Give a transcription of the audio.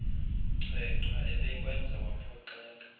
chwechwa ebekwenza waphoxeka